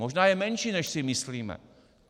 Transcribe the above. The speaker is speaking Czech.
Možná je menší, než si myslíme.